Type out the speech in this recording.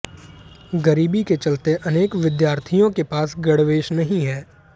गरीबी के चलते अनेक विद्यार्थियों के पास गणवेश नहीं है